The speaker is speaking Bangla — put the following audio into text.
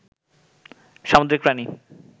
সামুদ্রিক প্রাণী